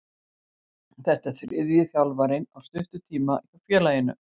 Þetta er þriðji þjálfarinn á stuttum tíma hjá félaginu.